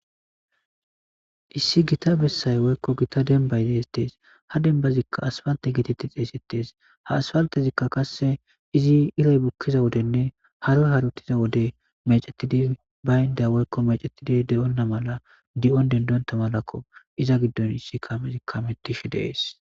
Issi gita bessay woykko gita denbay deestees ha dembazikka asfante gititti xeesettees ha aspaltezikka kass izi iray bukkiza wodenne haro haruttiza wode mecetidi baynda woykko mecettidi de7onna mala di7on dendonta malakko iza giddon issi kamezikka hamettishe dees.